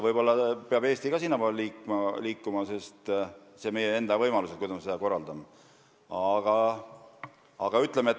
Võib-olla peab Eesti ka sinnapoole liikuma, sest see on meie enda võimalus, kuidas me seda korraldame.